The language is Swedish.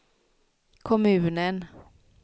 kommunen